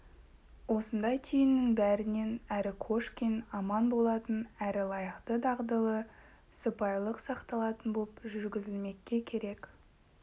осындай түйіннің бәрінен әрі кошкин аман болатын әрі лайықты дағдылы сыпайылық сақталатын боп жүргізілмекке керек